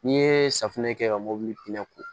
N'i ye safunɛ kɛ ka mobili pinɛ k'o